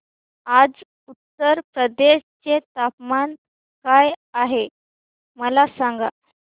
आज उत्तर प्रदेश चे तापमान काय आहे मला सांगा